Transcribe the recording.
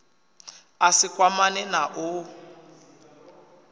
a si kwamane na u